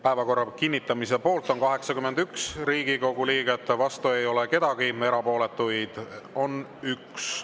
Päevakorra kinnitamise poolt on 81 Riigikogu liiget, vastu ei ole kedagi, erapooletuid on 1.